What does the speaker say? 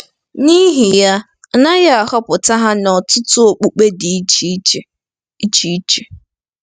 N'ihi ya, a naghị ahọpụta ha n'ọtụtụ okpukpe dị iche iche. iche iche.